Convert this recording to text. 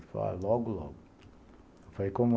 Ele falou, logo, logo.